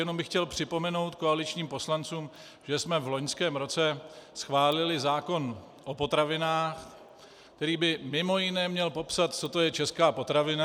Jenom bych chtěl připomenout koaličním poslancům, že jsme v loňském roce schválili zákon o potravinách, který by mimo jiné měl popsat, co to je česká potravina.